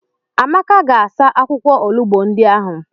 Amaka ga-asa akwụkwọ olugbo ndị ahụ.